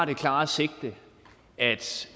det klare sigte at